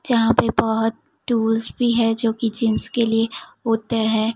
जहां पे बहोत टूल्स भी है जोकि जींस के लिए होते हैं।